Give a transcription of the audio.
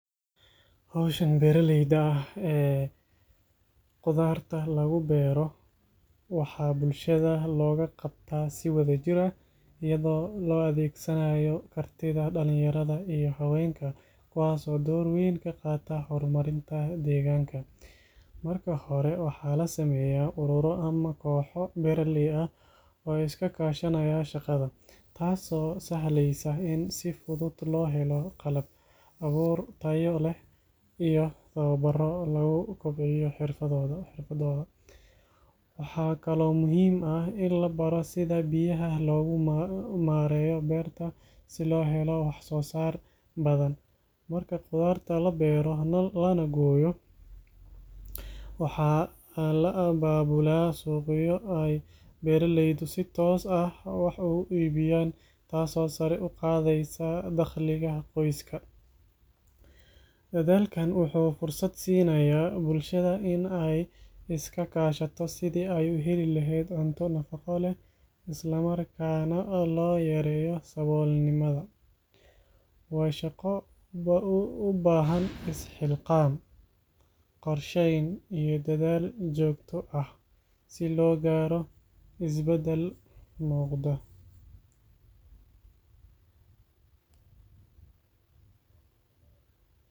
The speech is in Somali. Hawshan beeraleyda ah ee qudaarta lagu beero waxaa bulshada looga qabtaa si wadajir ah iyadoo la adeegsanayo kartida dhallinyarada iyo haweenka kuwaas oo door weyn ka qaata horumarinta deegaanka. Marka hore waxaa la sameeyaa ururo ama kooxo beeraley ah oo iska kaashanaya shaqada, taasoo sahleysa in si fudud loo helo qalab, abuur tayo leh iyo tababarro lagu kobcinayo xirfadooda. Waxaa kaloo muhiim ah in la baro sida biyaha loogu maareeyo beerta si loo helo waxsoosaar badan. Marka qudaarta la beero lana gooyo, waxaa la abaabulaa suuqyo ay beeraleydu si toos ah wax ugu iibiyaan taasoo sare u qaadaysa dakhliga qoysaska. Dadaalkan wuxuu fursad siinayaa bulshada in ay iska kaashato sidii ay u heli lahayd cunto nafaqo leh, isla markaana loo yareeyo saboolnimada. Waa shaqo u baahan is-xilqaan, qorsheyn iyo dadaal joogto ah si loo gaaro is-beddel muuqda.